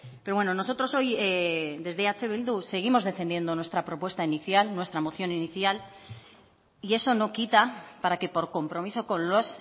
pero bueno nosotros hoy desde eh bildu seguimos defendiendo nuestra propuesta inicial nuestra moción inicial y eso no quita para que por compromiso con los